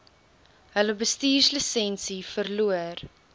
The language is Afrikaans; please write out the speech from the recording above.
hulle bestuurslisensie verloor